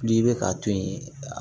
N'i bɛ k'a to yen